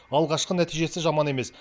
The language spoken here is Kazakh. алғашқы нәтижесі жаман емес